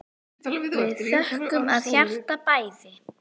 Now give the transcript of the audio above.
Við þökkum af hjarta bæði.